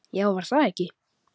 Já, var það ekki!